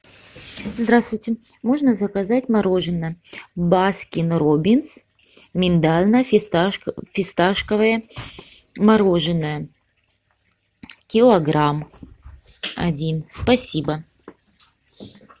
здравствуйте можно заказать мороженое баскин роббинс миндально фисташковое мороженое килограмм один спасибо